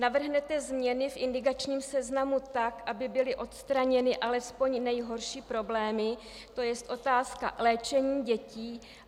Navrhnete změny v indikačním seznamu tak, aby byly odstraněny alespoň nejhorší problémy, to jest otázka léčení dětí?